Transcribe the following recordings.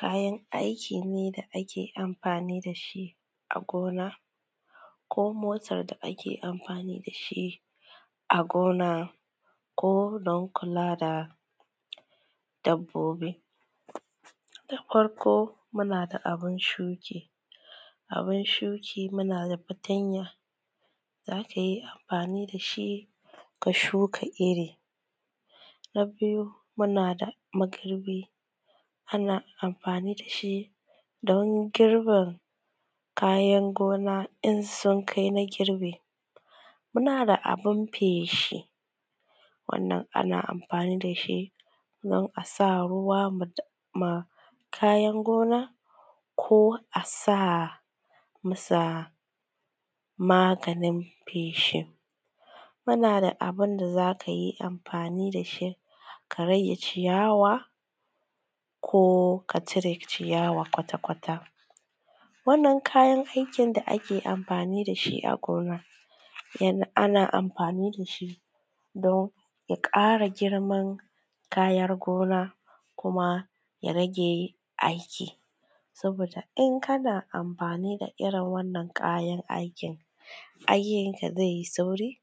Kayan aiki ne da ake amfani da shi a gona ko motar da ake amfani da shi a gona ko wurin kula da dabbobi. Da farko muna da abun shuki, abun shuki muna da fatanya zaka yi amfani da shi ka shuka iri. Na biyu muna da magirbi ana amfani da shi don girbe kayan gona in sun kai na girbe. Muna da abun feshi wannan ana amfani da shi dan asa ruwa ma kayan gona ko a sa masa maganin feshin, muna da abunda zaka yi amfani da shi ka rage ciyawa ko ka cire ciyawa kwata-kwata. Wannan kayan aikin da ake amfani da shi a gona, ya ana amfani da shi don ya ƙara giman kayar gona kuma ya rage aiki. Saboda in kana amfani da irin wannan kayan aikin, aikin ka zai yi sauri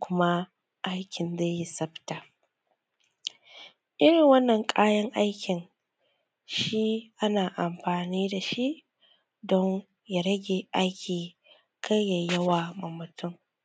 kuma aikin dai yi safta. Irin wannan kayan aikin shi ana amfani da shi don ya rage aiki kar yai yawa ma mutun.